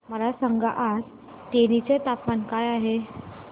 मला सांगा आज तेनी चे तापमान काय आहे